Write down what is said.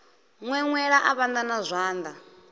ṅweṅwela a vhanda na zwanḓa